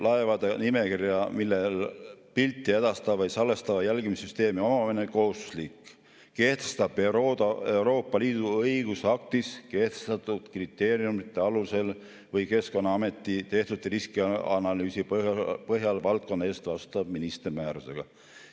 Laevade nimekirja, millel on pilti edastava või salvestava jälgimissüsteemi omamine kohustuslik, kehtestab Euroopa Liidu õigusaktis kehtestatud kriteeriumide alusel või Keskkonnaameti tehtud riskianalüüsi põhjal valdkonna eest vastutav minister määrusega.